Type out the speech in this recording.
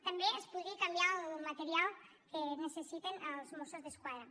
també es podria canviar el material que necessiten els mossos d’esquadra